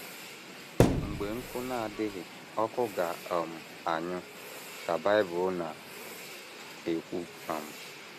“ Mgbe nkụ na - adịghị ọkụ ga - um anyụ, ” ka Bible na - ekwu. um